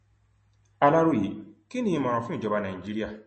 aláròyé kí ni ìmọràn fún ìjọba nàìjíríà